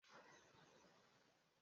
Ị naghị amasị ịkpụ ntutu Afro?